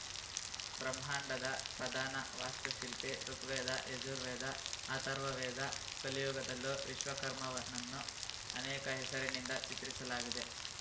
ಬ್ರಹ್ಮಾಂಡದ ಪ್ರಧಾನ ವಾಸ್ತು ಶಿಲ್ಪಿ ಋುಗ್ವೇದ ಯಜುರ್ವೇದ ಅಥರ್ವ ವೇದ ಕಲಿಯುಗದಲ್ಲೂ ವಿಶ್ವಕರ್ಮವ ನನ್ನು ಅನೇಕ ಹೆಸರಿನಿಂದ ಚಿತ್ರಿಸಲಾಗಿದೆ